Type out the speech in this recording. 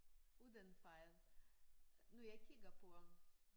Uden fejl når jeg kigger på ham